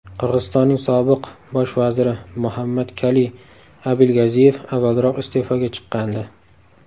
Qirg‘izistonning sobiq bosh vaziri Muhammadkaliy Abilgaziyev avvalroq iste’foga chiqqandi .